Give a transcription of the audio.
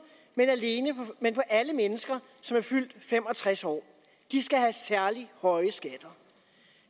men alle mennesker som er fyldt fem og tres år skal have særlig høje skatter